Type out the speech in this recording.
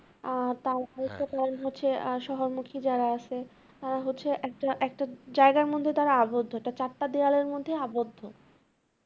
আর তাও আর সহমুখী যারা আসে তারা হচ্ছে একটা একটা জায়গার মধ্যে তারা আবদ্ধ, তা চারটা দেওয়ালের মধ্যেই আবদ্ধ